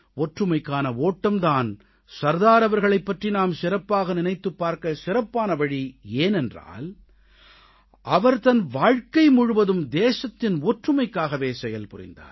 ஒற்றுமைக்கான ஓட்டம் தான் சர்தார் அவர்களைப் பற்றி நாம் சிறப்பாக நினைத்துப் பார்க்க சிறப்பான வழி ஏனென்றால் அவர் தன் வாழ்க்கை முழுவதும் தேசத்தின் ஒற்றுமைக்காகவே செயல்புரிந்தார்